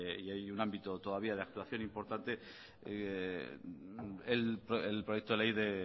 y hay un ámbito todavía de actuación importante el proyecto de ley de